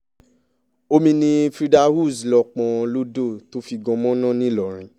omi ni frida uz lọ́ọ́ pọ́n lọ́dọ̀ tó fi gan mọ̀nà ńìlọrin